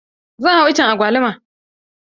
Zan hau iccen agwaluma.